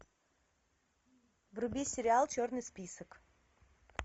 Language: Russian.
вруби сериал черный список